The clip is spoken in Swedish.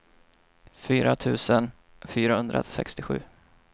fyra tusen fyrahundrasextiosju